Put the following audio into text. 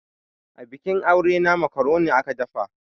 Abikin aure na makaroni aka dafa.